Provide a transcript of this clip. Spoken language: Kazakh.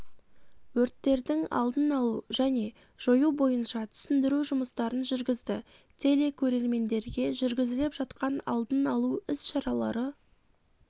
өрттердің алдын алу және жою бойынша түсіндіру жұмыстарын жүргізді телекөрермендерге жүргізіліп жатқан алдын алу іс-шаралары